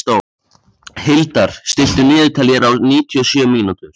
Hildar, stilltu niðurteljara á níutíu og sjö mínútur.